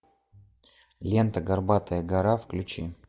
лента горбатая гора включи